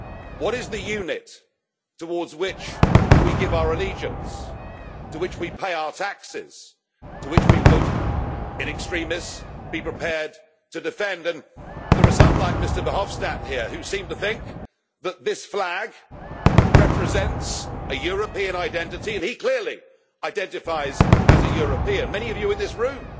What is the unit towards which we give our allegiance, to which we pay our taxes, to which we would, in extremis, be prepared to defend them? There are some like Mr Verhofstadt here who seem to think that this flag represents a European identity and he clearly identifies as a European, many of you in this room